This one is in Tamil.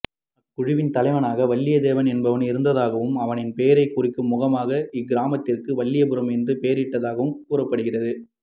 அக்குழுவின் தலைவனாக வல்லியத்தேவன் என்பவன் இருந்ததாகவும் அவனின் பெயரைக் குறிக்கும் முகமாக இக்கிராமத்திற்கு வல்லிபுரம் என்று பெயரிடப்பட்டதாகவும் கூறப்படுகிறது